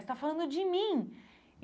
Você tá falando de mim.